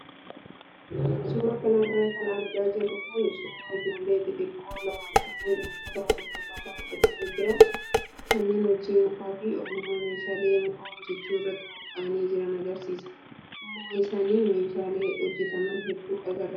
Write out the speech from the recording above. Suuraa kanarra kan argaa jirru kun suuraa ijoollee xixiqqoo lama kanneen uffata wal fakkaataa godhatanii jiran kanneen hojii mukaa fi ogummaa meeshaalee mukaa hojjachuu irratti bobboa'anii jiran agarsiisa. Duuba isaanii meeshaalee hojjataman hedduu agarra.